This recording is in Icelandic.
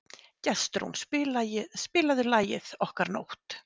Gestrún, spilaðu lagið „Okkar nótt“.